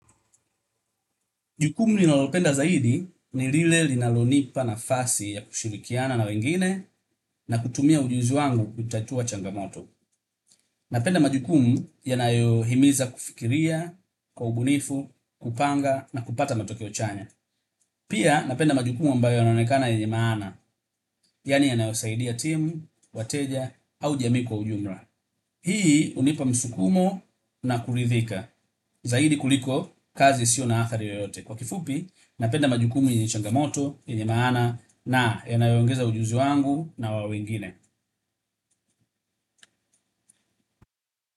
Jukumu ninalopenda zaidi ni lile linalonipa nafasi ya kushirikiana na wengine na kutumia ujuzi wangu kutatua changamoto. Napenda majukumu yanayohimiza kufikiria, kwa ubunifu, kupanga na kupata matokeo chanya. Pia napenda majukumu ambayo yanaonekana yenye maana, yani yanayosaidia timu, wateja au jami kwa ujumra. Hii hunipa msukumo na kurithika, zaidi kuliko kazi sio na athari yoyote. Kwa kifupi, napenda majukumu yenye changamoto, yenye maana na yanayongeza ujuzi wangu na wa wengine.